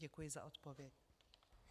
Děkuji za odpověď.